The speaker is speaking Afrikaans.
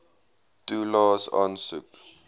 toelaes aansoek